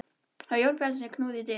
Það var Jón Bjarnason sem knúði dyra.